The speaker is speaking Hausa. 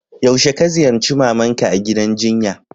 Yaushe ka ziyace mama'n ka a'gidan jinya?